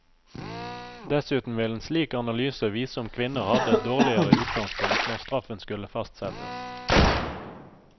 Dessuten vil en slik analyse vise om kvinner hadde et dårligere utgangspunkt når straffen skulle fastsettes.